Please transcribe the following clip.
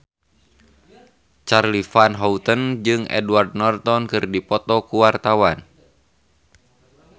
Charly Van Houten jeung Edward Norton keur dipoto ku wartawan